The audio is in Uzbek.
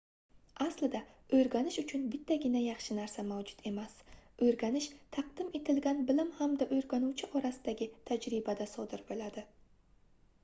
aslida oʻrganish uchun bittagina yaxshi narsa mavjud emas oʻrganish taqdim etilgan bilim hamda oʻrganuvchi orasidagi tajribada sodir boʻladi